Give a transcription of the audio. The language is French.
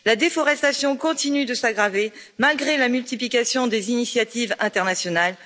La déforestation continue de s'aggraver malgré la multiplication des initiatives internationales.